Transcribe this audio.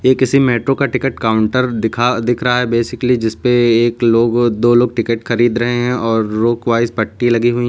ये किसी मेट्रो का टिकट काउंटर दिखा दिख रहा है बेसिकली जिस पे एक लोग दो लोग टिकट खरीद रहे हैं और रोक वाइस पट्टी लगी हुई है।